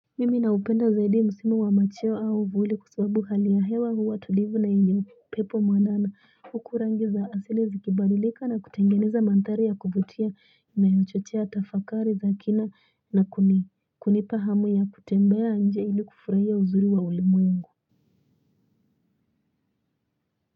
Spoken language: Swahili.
Mimi na upenda zaidi msimu wa machio au uvuli kwa sababu hali ya hewa huwa tulivu na yenye upepo mwanana huku rangi za asili zikibadilika na kutengeneza mandhari ya kuvutia inayochochea tafakari za kina na kunipa hamu ya kutembea nje ili kufurahia uzuri wa ulimwengu.